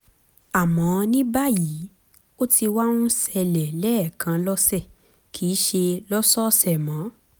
àmọ́ ní báyìí ó ti wá ń ṣẹlẹ̀ lẹ́ẹ̀kan lọ́sẹ̀ kìí sìí ṣe lọ́sọ̀ọ̀sẹ̀ mọ́